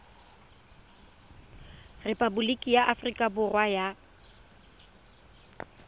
repaboliki ya aforika borwa ya